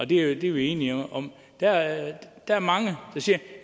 det er vi enige om der er er mange der siger